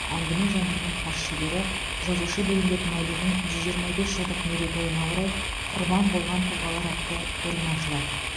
әңгіме жанрының хас шебері жазушы бейімбет майлиннің жүз жиырма бес жылдық мерейтойына орай құрбан болған тұлғалар атты көрме ашылады